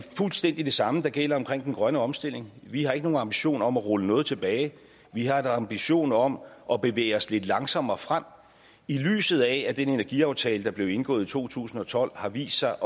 fuldstændig det samme der gælder med den grønne omstilling vi har ikke nogen ambition om at rulle noget tilbage vi har en ambition om at bevæge os lidt langsommere frem i lyset af at den energiaftale der blev indgået i to tusind og tolv har vist sig